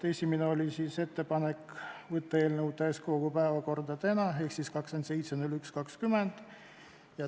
Esimene oli ettepanek võtta eelnõu täiskogu päevakorda tänaseks ehk siis 27. jaanuariks.